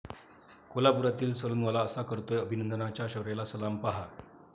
कोल्हापुरातील सलूनवाला असा करतोय अभिनंदनच्या शौर्याला सलाम, पाहा